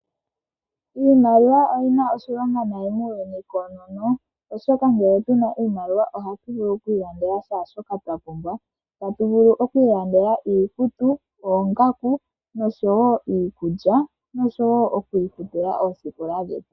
Iimaliwa oyi na oshilonga muuyuni awuhe koonono, oshoka ngele tu na oshimaliwa ohatu vulu okulanda kehe shoka twa pumbwa. Ohatu vulu okulanda iikutu, oongaku, iikulya, oshowo okufuta omanongelelo.